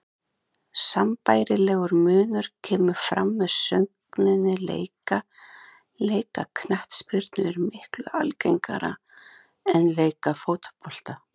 Sambærilegur munur kemur fram með sögninni leika, leika knattspyrnu er miklu algengara en leika fótbolta.